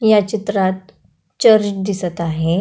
या चित्रात चर्च दिसत आहे.